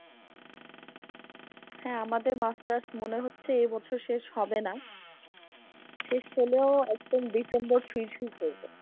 হ্যা আমাদের masters মনে হচ্ছে এ বছর শেষ হবেনা, শেষ হলেও একদম December ছুঁই ছুঁই করবে।